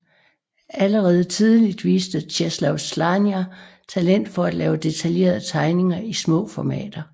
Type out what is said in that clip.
Allerede tidligt viste Czesław Słania talent for at lave detaljerede tegninger i små formater